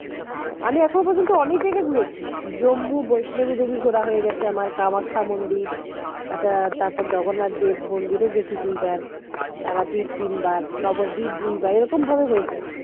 আমি এখনো পর্যন্ত অনেক জায়গায় ঘুরেছি জম্মু বৈষ্ণবী দেবী ঘোরা হয়ে গেছে আমার কামাখ্যা মন্দির তারপরে জগন্নাথ দেব মন্দিরও গেছি দুইবার তারাপীঠ তিনবার নগরদীপ দুইবার এই রকম ভাবে হয়েছে